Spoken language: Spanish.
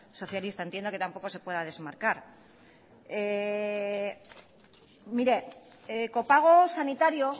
socialista entiendo que tampoco se pueda desmarcar mire copago sanitario